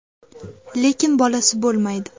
Lekin bolasi bo‘lmaydi.